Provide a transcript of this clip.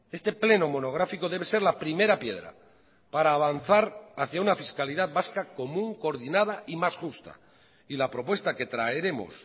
este pleno monográfico debe ser la primera piedra para avanzar hacía una fiscalidad vasca común coordinada y más justa y la propuesta que traeremos